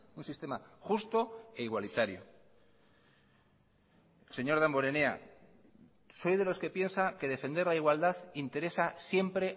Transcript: un sistema justo e igualitario señor damborenea soy de los que piensa que defender la igualdad interesa siempre